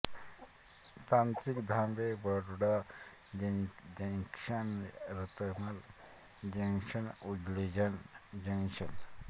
तांत्रिक थांबे Baroda junction Ratlam junction Ujjain junction